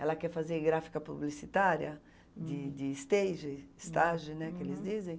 Ela quer fazer gráfica publicitária, de de stage, estage, né, que eles dizem.